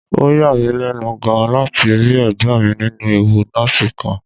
Ó yà mí lẹ́nu gan-an láti rí ẹ̀gbọ́n mi nínú ẹ̀wù nọ́ọ̀sì kan